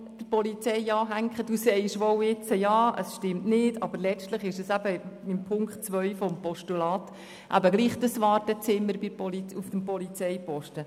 Gemäss Punkt 2 handelt es sich letztlich trotzdem um das Wartezimmer bei der Polizei.